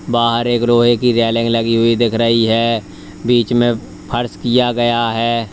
बाहर एक लोहे की रेलिंग लगी हुई दिख रही हैं बीच में फर्श किया गया है।